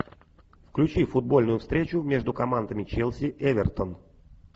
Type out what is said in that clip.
включи футбольную встречу между командами челси эвертон